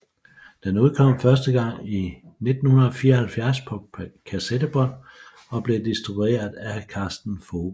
Den udkom første gang i 1974 på kassettebånd og blev distribueret af Karsten Vogel